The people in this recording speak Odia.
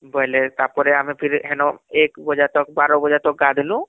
ବୋଇଲେ ତାପରେ ଆମେ ଫିର ହେନ ଏକ ବାଜେ ତକ ୧୨ ବଜେ ତକ ଗାଧନୁ